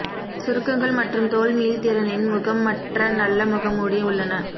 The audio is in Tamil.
சுருக்கங்கள் மற்றும் தோல் மீள்திறனின் முகம் மற்ற நல்ல முகமூடி உள்ளன